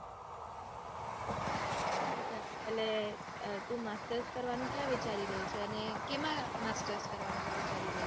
અચ્છા એટલે તું master કરવાનું ક્યાં વિચારી રહી છે? અને કેમાં master કરવાનું તું વિચારી રહી છે.